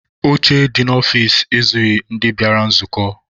Oche dị n'ọfici ezughị ndị bịara nzukọ.